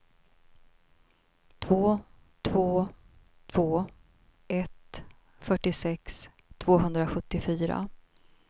två två två ett fyrtiosex tvåhundrasjuttiofyra